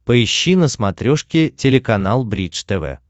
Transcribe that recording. поищи на смотрешке телеканал бридж тв